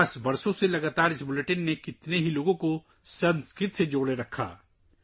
اس bulletin نے بہت سے لوگوں کو سنسکرت سے 50 سالوں سے لگاتار منسلک کر کے رکھا ہے